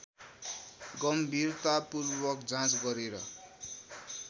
गम्भीरतापूर्वक जाँच गरेर